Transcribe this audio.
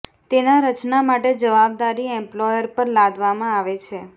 તેના રચના માટે જવાબદારી એમ્પ્લોયર પર લાદવામાં આવે છે